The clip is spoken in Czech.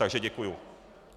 Takže děkuju.